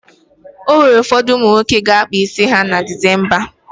E nwere ụfọdụ ụmụ nwoke ga-akpa isi ha na Dịsemba.